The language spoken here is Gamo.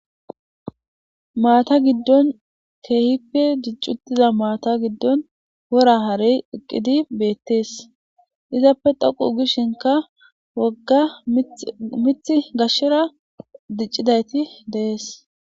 maata giddon keehippe dicci uttiza maata giddon wora harey eqqidi beettees izappe dhoqu gishinka wogga mith gashshera diccidayti de'ees